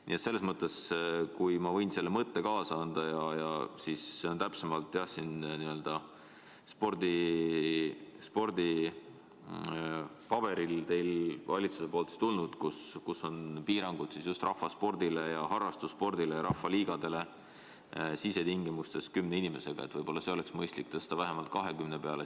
Nii et äkki ma võin teile selle mõtte kaasa anda – see puudutab täpsemalt valitsusest tulnud nn spordipaberit, kus just rahvasporti ehk harrastussporti ja rahvaliigade võistkondi piiratakse sisetingimustes kümne inimesega –, et võib-olla oleks mõistlik tõsta see piir vähemalt 20 inimese peale.